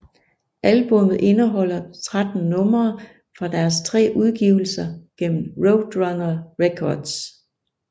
Albummet indeholder 13 numre fra deres tre udgivelser gennem Roadrunner Records